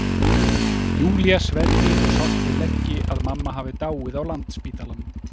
Júlía sverji og sárt við leggi að mamma hafi dáið á Landspítalanum.